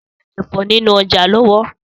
Sọlá ń rà Ẹ̀fọ́ nínú ọjà lọ́wọ́.